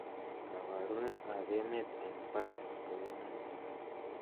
koboruet ab emet en paris koune